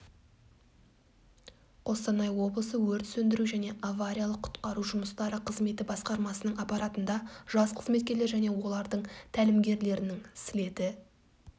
қостанай облысы өрт сөндіру және авариялық-құтқару жұмыстары қызметі басқармасының аппаратында жас қызметкерлер және олардың тәлімгерлерінің слеті